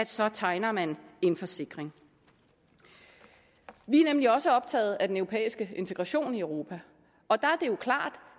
så tegner man en forsikring vi er nemlig også optaget af den europæiske integration i europa og der er det klart